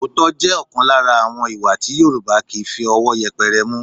Òótọ́ jẹ́ ọ̀kan lára àwọn ìwà tí Yorùbá kì í fi ọwọ́ yẹpẹrẹ mú